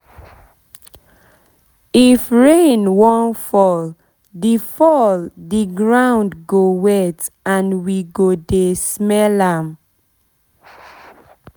if rain wan fall the fall the ground go wet and we go dey smell am